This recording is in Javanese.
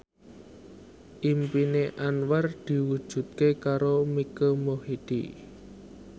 impine Anwar diwujudke karo Mike Mohede